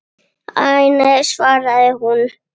Æ, nei svaraði hún.